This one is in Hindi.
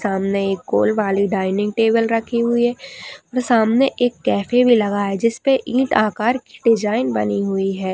सामने ही गोल वाली डाइनिंग टेबल रखी हुई है। सामने एक कैफ़े भी लगा है जिसपे ईंट आकर की डिज़ाइन बनी हुई है।